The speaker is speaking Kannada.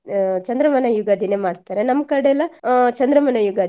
ಅಹ್ ಚಂದ್ರಮಾನ ಯುಗಾದಿನೆ ಮಾಡ್ತಾರೆ ನಮ್ಕಡೆ ಎಲ್ಲ ಅಹ್ ಚಂದ್ರಮಾನ ಯುಗಾದಿ.